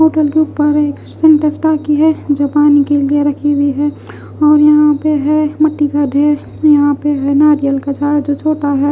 Hotel के बाहेर एक सिंटेक्स टाकी है जो पानी के लिए राखी हुई हैऔर यहाँपे है मीठी का ढेर यहपे है और यहाँपे है नारियल का झाड़ जो छोटा है।